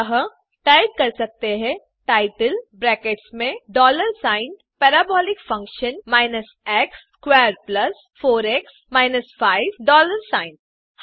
अतः आप टाइप कर सकते हैं टाइटल ब्रैकेट्स में dollar sign parabolic function x squared plus 4एक्स माइनस 5 डॉलर सिग्न